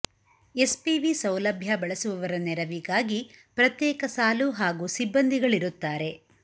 S P V ಸೌಲಭ್ಯ ಬಳಸುವವರ ನೆರವಿಗಾಗಿ ಪ್ರತ್ಯೇಕ ಸಾಲು ಹಾಗೂ ಸಿಬ್ಬಂದಿಗಳಿರುತ್ತಾರೆ